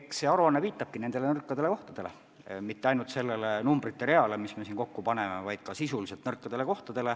Eks see aruanne viitabki ka nõrkadele kohtadele, mitte ainult sellele numbrite reale, mis me kokku oleme pannud, vaid ka sisuliselt nõrkadele kohtadele.